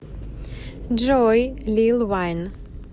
джой лил вайн